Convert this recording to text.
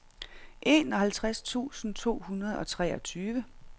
enoghalvtreds tusind to hundrede og treogtyve